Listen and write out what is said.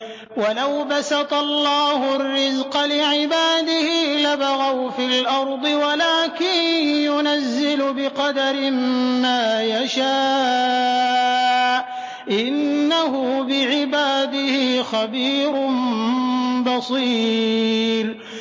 ۞ وَلَوْ بَسَطَ اللَّهُ الرِّزْقَ لِعِبَادِهِ لَبَغَوْا فِي الْأَرْضِ وَلَٰكِن يُنَزِّلُ بِقَدَرٍ مَّا يَشَاءُ ۚ إِنَّهُ بِعِبَادِهِ خَبِيرٌ بَصِيرٌ